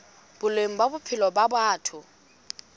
boleng ba bophelo ba batho